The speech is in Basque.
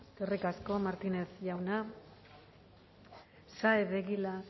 eskerrik asko martínez jauna saez de egilaz